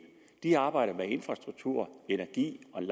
de arbejder med infrastruktur energi og en